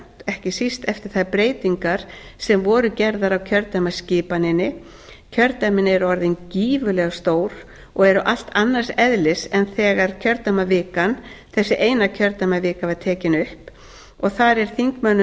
ekki síst eftir þær breytingar sem gerðar voru á kjördæmaskipaninni kjördæmin eru orðin gífurlega stór og eru allt annars eðlis en þegar þessi eina kjördæmavika var tekin upp